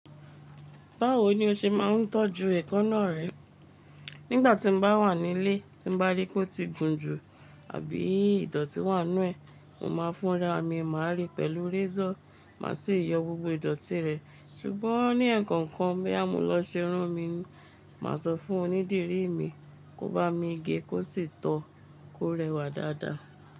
Báwo ni o ṣe máa ń tọ́jú ẹ̀kanáà rẹ? Nígbà tí m bá wà nílé, tí n bá ríi pé ó ti gùn jù àbí ìdọ̀tí wà nù ẹ́, mo máa fúnra mi mà re pẹ̀lú résọ̀, màá sì yọ gbogbo ìdọ̀tí rẹ̀. Ṣùgbọ́n ní ẹ̀ẹ̀kọ̀kan boyá mo lọ ṣerún mi, màá sọ fún onídìrí mi kó bá mi ge kó sì tọ́, kó rẹwà dáadáa.